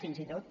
fins i tot